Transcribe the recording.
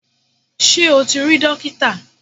Ṣé o ti rí dókítà?